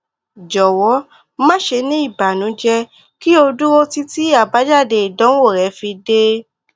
jọwọ ma ṣe ni ibanujẹ ki o duro titi abajade idanwo rẹ fi de